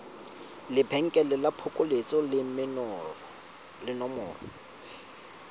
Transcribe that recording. lebenkele la phokoletso le nomoro